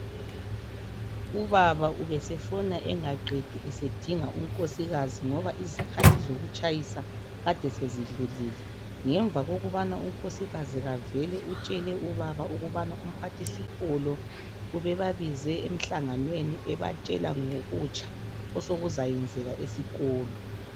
Ubaba ubesefona engaqedi esedinga unkosikazi ngoba izikhathi zokutshayisa kade sezidlulile. Ngemva kokubana unkosikazi kavele utshele ubaba ukubana umphathisikolo ubebabize emhlanganweni ebatshela ngokutsha osokuzayenzeka esikolo.